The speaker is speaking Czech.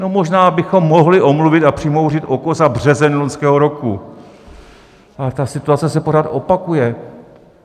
No, možná bychom mohli omluvit a přimhouřit oko za březen loňského roku, ale ta situace se pořád opakuje.